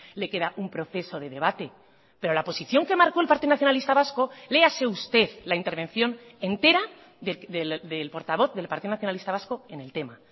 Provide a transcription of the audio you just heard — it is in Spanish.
le queda un proceso de debate pero la posición que marcó el partido nacionalista vasco léase usted la intervención entera del portavoz del partido nacionalista vasco en el tema